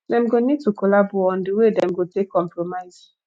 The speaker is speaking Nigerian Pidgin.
dem go need to collabo on di wey dem go take compromise